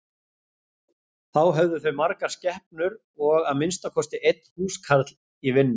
Þá höfðu þau margar skepnur og að minnsta kosti einn húskarl í vinnu.